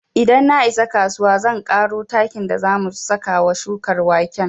Idan na isa kasuwa zan ƙaro takin da za mu saka wa shukar waken